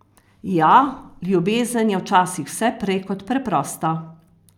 Ja, ljubezen je včasih vse prej kot preprosta!